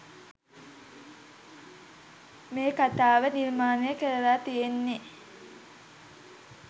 මේ කතාව නිර්මාණය කරල තියෙන්නේ